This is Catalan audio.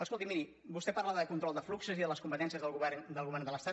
escolti miri vostè parla de control de fluxos i de les competències del govern de l’estat